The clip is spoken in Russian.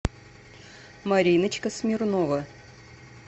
мариночка смирнова